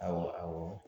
Awɔ